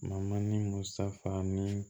Ma ni musafa ni